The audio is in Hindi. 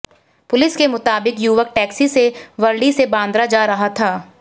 पुलिस के मुताबिक युवक टैक्सी से वर्ली से बांद्रा जा रहा था